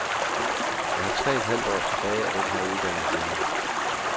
Jeg har tre et halvt år tilbage af den her uddannelse endnu.